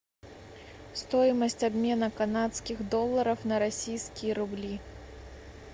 стоимость обмена канадских долларов на российские рубли